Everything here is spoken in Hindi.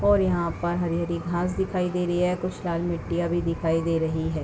और यहाँ पर हरी-हरी घास दिखाई दे रही है कुछ लाल मिट्टियाँ भी दिखाई दे रही है ।